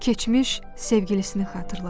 Keçmiş sevgilisini xatırladı.